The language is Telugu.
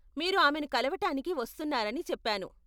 మీరు ఆమెను కలవటానికి వస్తున్నారని చెప్పాను.